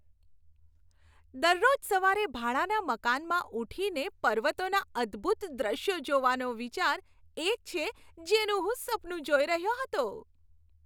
દરરોજ સવારે ભાડાના મકાનમાં ઉઠીને પર્વતોના અદભૂત દ્રશ્યો જોવાનો વિચાર એ જ છે જેનું હું સપનું જોઈ રહ્યો હતો.